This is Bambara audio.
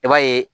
I b'a ye